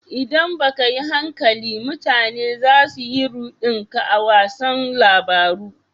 ldan ba ka yin hankali, mutane za su yi rudin ka a wasan labaru.